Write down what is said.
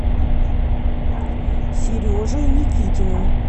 сережей никитиным